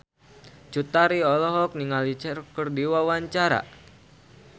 Cut Tari olohok ningali Cher keur diwawancara